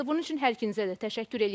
Bunun üçün hər ikinizə də təşəkkür eləyirik.